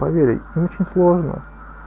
поверить очень сложно